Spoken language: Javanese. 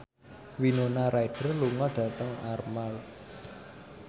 Winona Ryder lunga dhateng Armargh